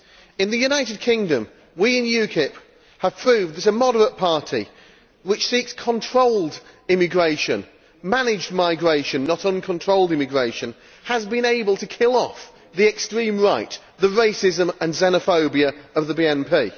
In the United Kingdom we in UKIP have proved that a moderate party which seeks controlled immigration managed migration, not uncontrolled immigration has been able to kill off the extreme right, the racism and xenophobia of the BNP.